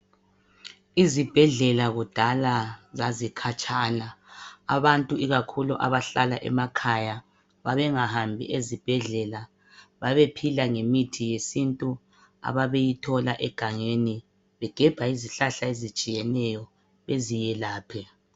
Izibhedlela kudala zazikhatshana. Abantu ikakhulu abahlala emakhaya babengahambi ezibhedlela, babephila ngemithi yesintu ababeyithola egangeni, begebha izihlahla ezitshiyeneyo beziyelaphe.